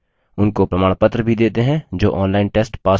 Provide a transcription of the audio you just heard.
उनको प्रमाणपत्र भी देते हैं जो online test pass करते हैं